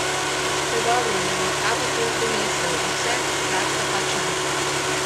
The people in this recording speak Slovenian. Predobri, da bi jih A papir prenese vse, praksa pač ne.